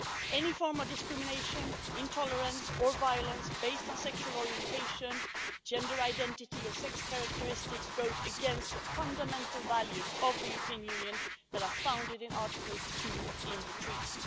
Any form of discrimination, intolerance or violence based on sexual orientation, gender identity or sex characteristics, goes against the fundamental values of the European Union that are founded in Article II of the Treaty.